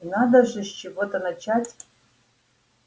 и надо же с чего-то начать